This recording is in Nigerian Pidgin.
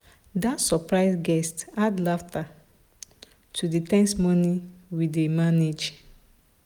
that surprise guest add laughter to the ten se morning we dey manage.